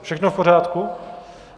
Všechno v pořádku?